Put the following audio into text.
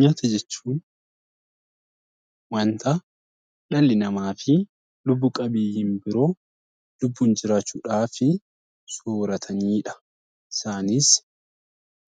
Nyaata jechuun wanta dhalli namaa fi lubbu qabeeyyiin biroo lubbuun jiraachuudhaaf sooratanidha.